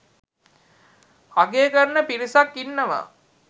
අගය කරන පිරිසක් ඉන්නවා.